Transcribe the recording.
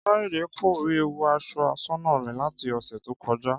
Káyọ̀dé kò rí ẹ̀wù aṣọ aṣọ́nà rẹ̀ láti ọ̀sẹ̀ tó kọjá